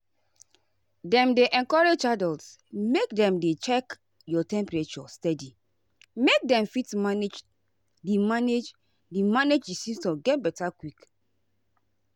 dem dey encourage adults make dem dey check your temperature steady make dem fit manage di manage di manage symptoms get beta quick.